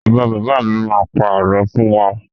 Bàbá bàbá mi má pa àlọ́ fún wa.